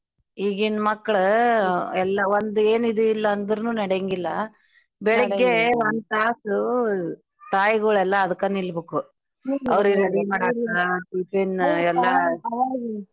ಈಗಿನ್ ಮಕ್ಳು ಎಲ್ಲ ಒಂದ್ ಎನ್ ಇದೆ ಇಲ್ಲಾ ಅಂದ್ರುನೂ ನಡ್ಯಂಗಿಲ್ಲಾ. ಬೆಳಿಗ್ಗೆ ತಾಸು ತಾಯ್ಗುಳೆಲ್ಲಾ ಅದಕ್ಕ ನಿಲ್ಬಕು ಅವ್ರಿಗ್ ready ಮಾಡಕ tiffin ಎಲ್ಲಾ .